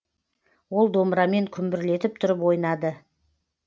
ол домбырамен күмбірлетіп тұрып ойнады